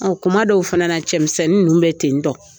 Ɔ kuma dɔw fana cɛmisɛnnin ninnu bɛ ten tɔn